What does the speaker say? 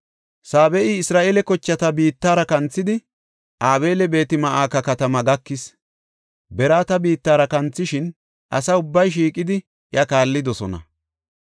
Saabe7i Isra7eele kochata biittara kanthidi, Abeel-Beet-Ma7ika katamaa gakis. Berata biittara kanthishin, asa ubbay shiiqidi iya kaallidosona.